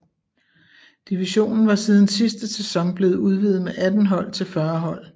Divisionen var siden sidste sæson blevet udvidet med 18 hold til 40 hold